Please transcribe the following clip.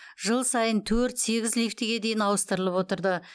жыл сайын төрт сегіз лифтіге дейін ауыстырылып отырды